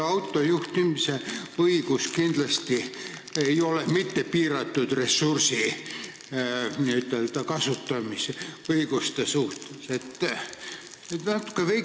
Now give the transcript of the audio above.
Autojuhtimise õigus ei ole kindlasti mitte piiratud ressursi kasutamise õigus.